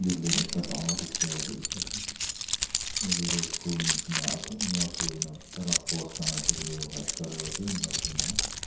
land ekta dagor dikhi ase etu toh school nishi na ase ena kuri ne tai la post khan ase koi le toh white colour ase ena kuri na.